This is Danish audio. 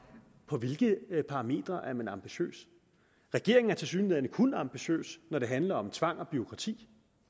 på hvilke parametre man er ambitiøs regeringen er tilsyneladende kun ambitiøs når det handler om tvang og bureaukrati